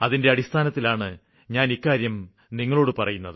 അതിന്റെ അടിസ്ഥാനത്തിലാണ് ഞാന് ഇക്കാര്യം നിങ്ങളോട് പറയുന്നത്